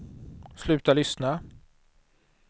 sluta lyssna